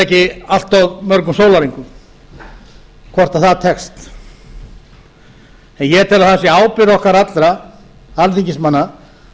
ekki allt of mörgum sólarhringum hvort það tekst en ég tel að það sé ábyrgð okkar allra alþingismanna